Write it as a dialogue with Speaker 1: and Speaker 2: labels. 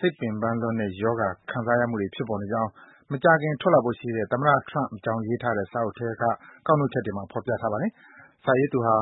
Speaker 1: စိတ်ပင်ပန်းလွန်တဲ့ ရောဂါ ခံစားရမှုတွေ ဖြစ်ပေါ်နေကြောင်း မကြာခင် ထွက်လာဖို့ရှိတဲ့ သမ္မတ Trump အကြောင်းရေးထားတဲ့ စာအုပ်ထဲက ကောက်နှုတ် ချက်တွေမှာ ဖော်ပြထားပါတယ်။ စာရေးသူဟာ